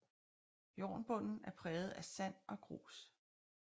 Jornbunden er præget af sand og grus